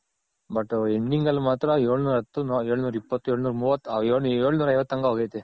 But Ending ಅಲ್ಲಿ ಮಾತ್ರ ಎಳ್ನೂರ್ ಹತ್ತು, ಎಳ್ನೂರ್ ಇಪ್ಪತ್ತು, ಎಳ್ನೂರ್ ಮುವತ್ತು, ಎಳ್ನೂರ್ ಐವತ್ತು ತನಕ ಹೋಗೈತೆ.